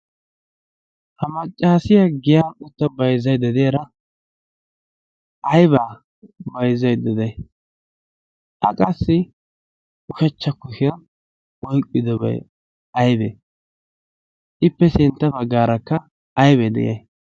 ha maccaasiya giya qutta baizaidedeyaara aibaa baizzaidda de7ay? qassi ushachcha kushiyaa oiqqidobai aibee? ippe sintta baggaarakka aibee de7iyay?